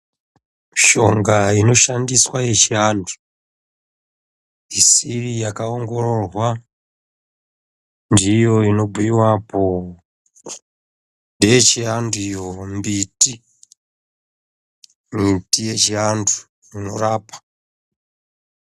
Mishonga inoshandiswa yechiantu isiri yakaongororwa ndiyo inobhuiwapo . Ndeyechiantu iyo mbiti, miti yechiantu inorapa.